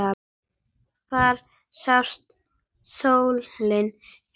Þar sást sólin fyrr.